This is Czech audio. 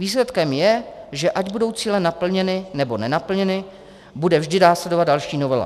Výsledkem je, že ať budou cíle naplněny nebo nenaplněny, bude vždy následovat další novela.